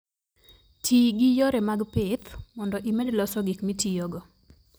Ti gi yore mag pith mondo imed loso gik mitiyogo.